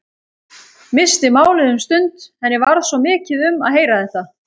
Missti málið um stund, henni varð svo mikið um að heyra þetta.